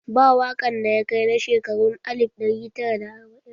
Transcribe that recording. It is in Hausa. Ba waƙan da ya kai na shekarun alif ɗari tara da arbain